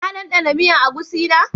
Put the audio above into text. Ka danɗana miyan agushi na?